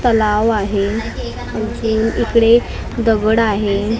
तलाव आहे आणखीन इकडे गवड आहे.